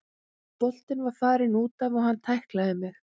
Boltinn var farinn útaf og hann tæklaði mig.